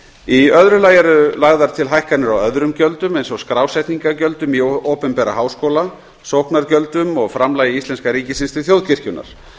í öðru lagi eru lagðar til hækkanir á öðrum gjöldum eins og skrásetningargjöldum í opinbera háskóla sóknargjöldum og framlagi íslenska ríkisins til þjóðkirkjunnar